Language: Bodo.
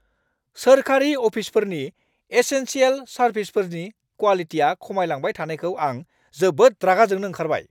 सोरखारि अफिसफोरनि एसेनसियेल सारभिसफोरनि क्वालिटिया खमायलांबाय थानायखौ आं जोबोद रागा जोंनो ओंखारबाय!